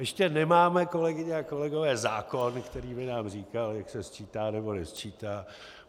Ještě nemáme, kolegyně a kolegové, zákon, který by nám říkal, jak se sčítá nebo nesčítá.